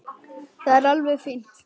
Það er alveg fínt.